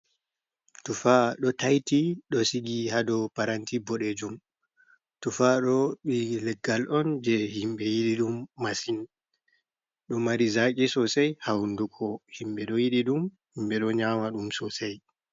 Tufa ɗo taiti ɗo sigi ha dou paranti boɗeejum. Tufa ɗo, ɓi leggal on je himɓe yiɗi ɗum masin. Ɗo mari zaƙi sosai ha hunduko. Himɓe ɗo yiɗi ɗum, himbe do nyaama ɗum sosai.